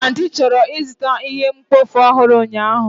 Aunty chọrọ ịzụta ihe mkpofu ọhụrụ ụnyahụ.